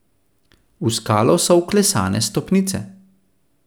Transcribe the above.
V skalo so vklesane stopnice.